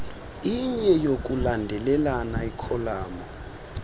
inye yokulandelelana ikholamu